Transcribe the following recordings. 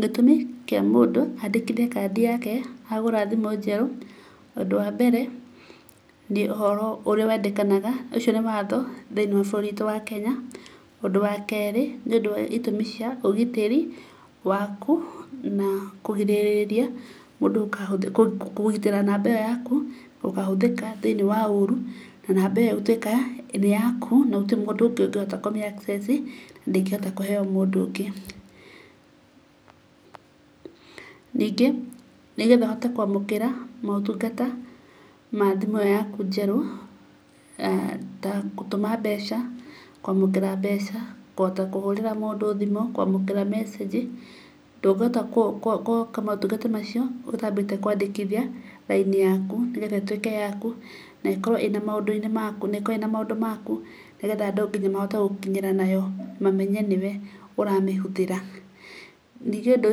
Gĩtũmi kĩa mũndũ andĩkithie kandi yake agũra thimũ njerũ: Ũndũ wa mbere nĩ ũhoro ũrĩa wendekanaga, ũcio nĩ watho thĩini wa bũrũri witũ wa Kenya. Ũndũ wa keerĩ, nĩ ũndũ wa itũmi cia ũgitĩri waku na kũgitĩra namba ĩyo yaku gũkahũthĩka thĩ-inĩ wa ũru. Na namba ĩyo gũtwĩka nĩ yaku na gũtirĩ mũndũ ũngĩ ũngĩhota kũmĩ access, na ndĩngĩhota kũheo mũndũ ũngĩ. Ningi, nĩ getha ũhote kũamukĩra motungata ma thimũ ĩyo yaku njerũ ta gũtũma mbeca, kwamũkĩra mbeca, kũhota kũhũrĩra mũndũ thimũ, kwamũkĩra message, ndũngĩhota gwĩka motungata macio ũtambĩte kwandĩkithia raini yaku nĩ getha ĩtuĩke yaku na ĩkorwo ĩna maũndũ maku, ni getha nginya mahote gũgũkinyĩra nayo, mamenye nĩ we ũramĩhũthĩra. Ningĩ ũndũ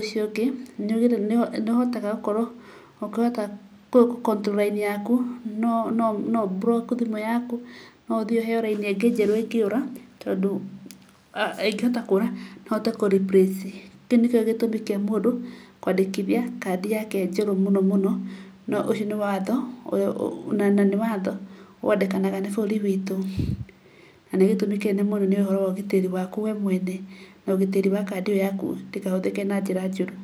ũcio ũngĩ, nĩũhotaga gũkorwo ũkĩhota gũ control raini yaku, no ũ block thimũ yaku, no ũthiĩ ũheo raini ĩngĩ njerũ ĩngĩũra tondũ ingĩhota kũra no ũhote kũ replace. Kĩu nĩkĩo gĩtũmi kĩa mũndũ kwandĩkithia kandi yake njerũ mũno mũno, na nĩ watho wendekanaga nĩ bũrũri witũ, na nĩ gĩtũmi kĩnene mũno nĩ ũhoro wa ũgitĩri waku we mwene, na ũgitĩri wa kandi ĩyo yaku ndĩkahũthĩke na njĩra njũru.